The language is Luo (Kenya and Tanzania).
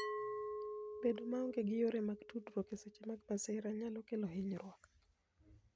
Bedo maonge gi yore mag tudruok e seche mag masira, nyalo kelo hinyruok.